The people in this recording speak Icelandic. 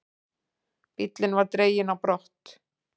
Bíllinn var dreginn á brott.